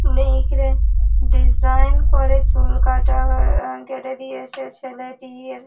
মিহিকরা design করে চুল কাটা কেটে দিয়েছে ছেলেটির।